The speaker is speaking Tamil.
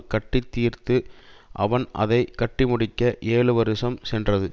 கட்டி தீர்ந்தது அவன் அதை கட்டி முடிக்க ஏழு வருஷம் சென்றது